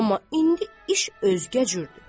Amma indi iş özgə cürdür.